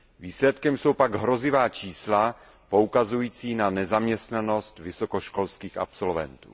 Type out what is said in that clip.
Výsledkem jsou pak hrozivá čísla poukazující na nezaměstnanost vysokoškolských absolventů.